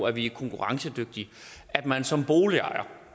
at vi er konkurrencedygtige at man som boligejer